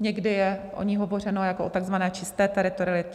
někdy je o ní hovořeno jako o takzvané čisté teritorialitě.